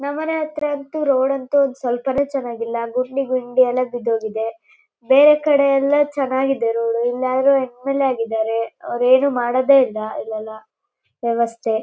ನಮ್ಮನೆ ಹತ್ರ ಅಂತೂ ರೋಡ್ ಅಂತೂ ಸ್ವಲ್ಪನೂ ಚೆನ್ನಾಗಿಲ್ಲಾ ಗುಂಡಿ ಗುಂಡಿಯೆಲ್ಲಾ ಬಿದ್ದೋಗಿದೆ ಬೇರೆ ಕಡೆಯಲ್ಲಾ ಚೆನ್ನಾಗಿದೆ ರೋಡ್ ಇಲ್ಲೆಲ್ಲಾ ಎಂ ಎಲ್ ಎ ಆಗಿದ್ದಾರೆ ಆದ್ರೆ ಅವರೇನು ಮಾಡೋದೆಯಿಲ್ಲಾಇಲಲ್ಲೆಲ್ಲಾ ವ್ಯವಸ್ಥೆ.